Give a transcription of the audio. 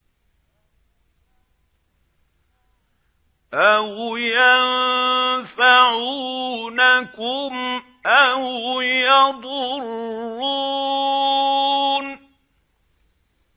أَوْ يَنفَعُونَكُمْ أَوْ يَضُرُّونَ